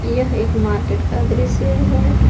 यह एक मार्केट का दृश्य है।